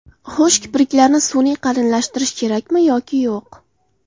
Xo‘sh, kipriklarni sun’iy qalinlashtirish kerakmi yoki yo‘q?